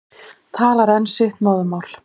Talar enn sitt móðurmál.